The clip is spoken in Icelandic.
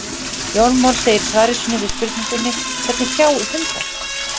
Jón Már segir í svari sínu við spurningunni Hvernig sjá hundar?